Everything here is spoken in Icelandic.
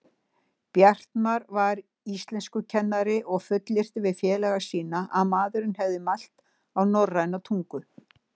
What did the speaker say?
Bjartmar var íslenskukennari og fullyrti við félaga sína að maðurinn hefði mælt á norræna tungu.